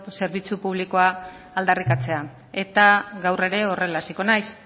zerbitzu publikoa aldarrikatzea eta gaur ere horrela hasiko naiz